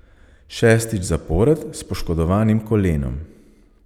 Šestič zapored s poškodovanim kolenom.